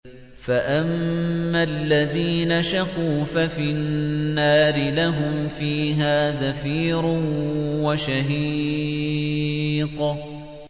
فَأَمَّا الَّذِينَ شَقُوا فَفِي النَّارِ لَهُمْ فِيهَا زَفِيرٌ وَشَهِيقٌ